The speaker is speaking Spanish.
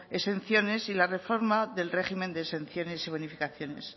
exenciones y la reforma del régimen de exenciones y bonificaciones